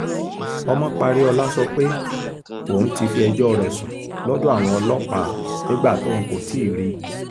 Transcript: ọmọparíọlá sọ pé òun ti fi ẹjọ́ rẹ̀ sùn lọ́dọ̀ àwọn ọlọ́pàá nígbà tóun kò ti rí i